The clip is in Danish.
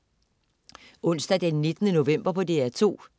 Onsdag den 19. november - DR2: